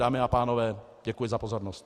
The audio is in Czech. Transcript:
Dámy a pánové, děkuji za pozornost.